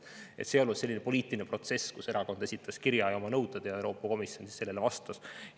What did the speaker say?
See ei olnud selline poliitiline protsess, kus erakond esitas kirjas oma nõuded ning Euroopa Komisjon neile vastas.